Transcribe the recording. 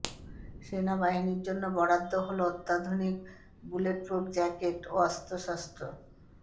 সেনাবাহিনীর জন্য বরাদ্দ হল অত্যাধুনিক বুলেটপ্রুফ জ্যাকেট ও অস্ত্রশস্ত্র